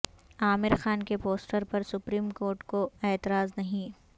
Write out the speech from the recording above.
عامر خان کے پوسٹر پر supreme court کو اعتراض نہیں